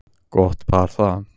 Gott par það.